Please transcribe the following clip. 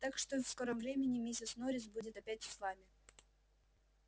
так что в скором времени миссис норрис будет опять с вами